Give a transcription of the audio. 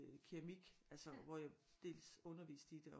Øh keramik altså hvor jeg dels underviste i det og